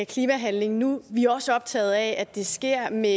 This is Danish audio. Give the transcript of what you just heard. klimahandling nu vi er også optaget af at det sker med